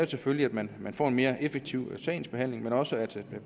selvfølgelig at man får en mere effektiv sagsbehandling men også at